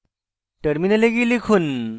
terminal গিয়ে লিখুন